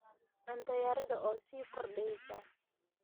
Cunto yarida oo sii kordheysa.